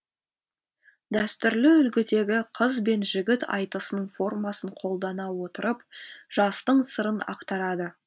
дәстүрлі үлгідегі қыз бен жігіт айтысының формасын қолдана отырып жастың сырын ақтарады